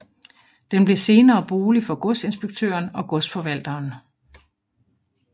Den blev senere bolig for godsinspektøren og godsforvalteren